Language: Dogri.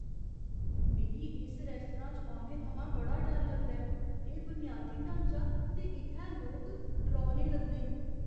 मिगी इस रेस्तरां च औने थमां बड़ा डर लगदा ऐ। एह् बुनियादी ढांचा ते इत्थै लोक डरौने लगदे न।